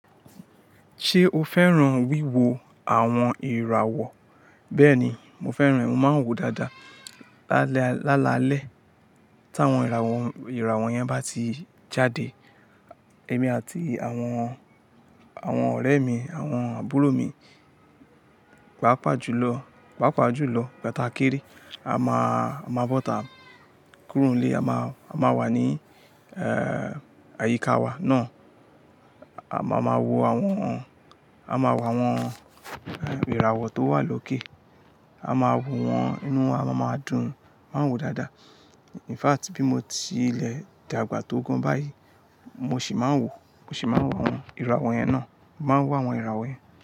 Ṣé o fẹ́ràn wíwo àwọn ìràwọ̀? Bẹ́ẹ̀ni, mo fẹ́ràn ẹ mo máa ń wòó dáadáa. Lálalẹ́ tí àwọn ìràwọ̀ yẹn bá ti jáde, èmi àti àwọn ọ̀rẹ́ mi, àwọn àbúrò mi, pàpà jùlọ, pàpà jùlọ ìgbà tá kéré. A máa bọ́ta kúrùn-ú-lé, a máa wà ní àyíká wa náà. A máa ma wò àwọn ìràwọ̀ tó wà lókè. A máa wòó wọn inú, a máa dùn, máa wòó dáadáa. In fact, bí mo ti lẹ̀ dàgbà tó gan báyìí, mo sì máa ń wò mo sì máa. Wo àwọn ìràwọ̀ yẹn náà, mo máa ń wò àwọn ìràwọ̀ yẹn.